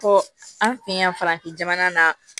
Ko an fɛ yan farafin jamana na